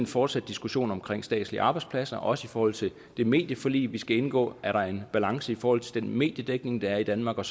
fortsat diskussion om statslige arbejdspladser også i forhold til det medieforlig vi skal indgå er der en balance i forhold til den mediedækning der er i danmark og